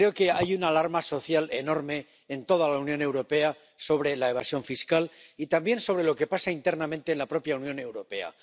Creo que hay una alarma social enorme en toda la Unión Europea sobre la evasión fiscal y también sobre lo que pasa internamente en la propia Unión Europea.